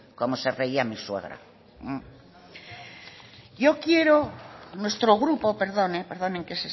como se reía mi suegra yo quiero nuestro grupo perdonen que